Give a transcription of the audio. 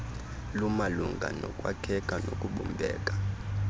lumalunga nokwakheka nokubumbeka